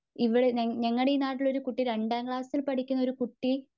ഇവിടെ ഞങളുടെ നാട്ടില് ഒരുകുട്ടി രണ്ടാം ക്ലാസ്സില് പഠിക്കുന്നൊരു കുട്ടി.